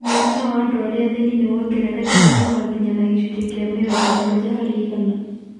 Mũigana wa andũ arĩa athĩni nĩ wongererekete na ũgakinya na gĩcunjĩ kĩa mĩrongo mugwanja harĩ igana.